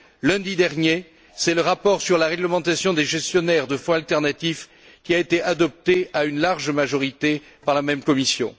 Lundi dernier, c'est le rapport sur la réglementation des gestionnaires de fonds alternatifs qui a été adopté à une large majorité par la même commission.